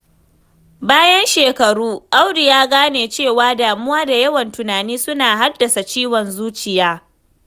Bayan shekaru, Audu ya gane cewa damuwa da yawan tunani suna haddasa ciwon zuciya.